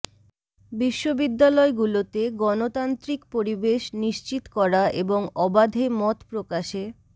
বিশ্ববিদ্যালয়গুলোতে গণতান্ত্রিক পরিবেশ নিশ্চিত করা এবং অবাধে মত প্রকাশে